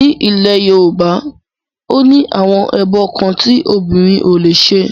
Ní ilẹ̀ Yorùbá, ó ní àwọn ẹbọ kan tí obìnrin ò lè ṣe